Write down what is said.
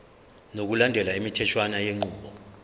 ngokulandela imitheshwana yenqubo